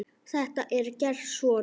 Þetta er gert svona